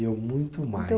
Eu muito mais.